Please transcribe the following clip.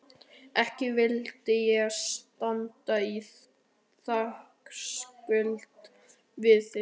Ekki vildi ég standa í þakkarskuld við þig